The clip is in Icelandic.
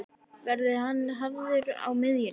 Verður hann hafður á miðjunni?